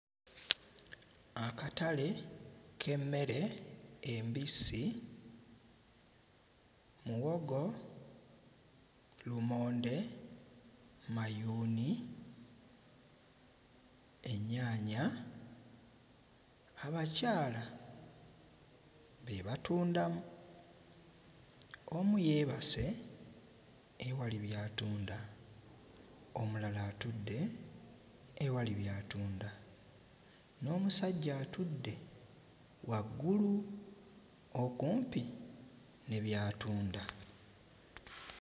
Akatale k'emmere embisi; muwogo, lumonde, mayuuni, ennyaanya. Abakyala be batundamu. Omu yeebase ewali by'atunda omulala atudde ewali by'atunda n'omusajja atudde waggulu okumpi ne by'atunda.